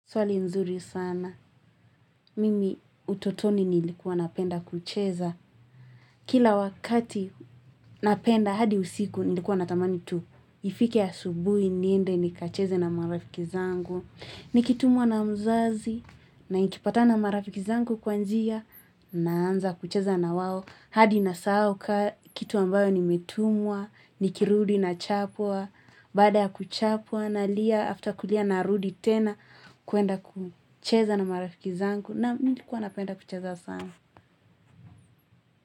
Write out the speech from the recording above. Swali nzuri sana. Mimi utotoni nilikuwa napenda kucheza. Kila wakati napenda, hadi usiku, nilikuwa natamani tu. Ifike asubuhi, niende nikacheze na marafiki zangu. Nikitumwa na mzazi, na nikipatana marafiki zangu kwa njia, naanza kucheza na wao. Hadi nasahau, kitu ambayo nimetumwa, nikirudi na chapwa. Baada ya kuchapwa nalia after kulia narudi tena kuenda kucheza na marafiki zangu na nilikuwa napenda kucheza sana.